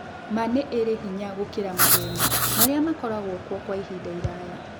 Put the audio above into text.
Ma nĩ marĩ hinya gũkĩra maheeni marĩa makoragwo kuo kwa ihinda iraya.